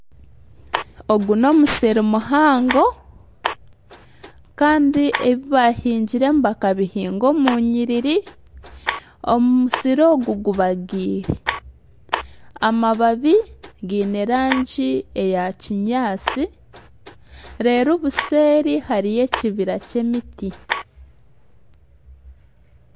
Ogu n'omusiri muhango kandi ebi baahingiremu bakabihinga omu nyiriri, omusir ogu gubagiire, amababi gaine erangi eya kinyaatsi reero obuseeri hariyo ekibira ky'emiti